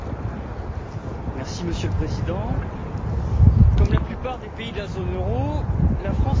Monsieur le Président, comme la plupart des pays de la zone euro, la France est concernée par le